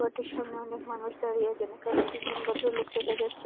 এটির সামনে অনেক মানুষ দাঁড়িয়ে আছেন এখানে তিনজন ভদ্রলোক দেখা যাচ্ছে।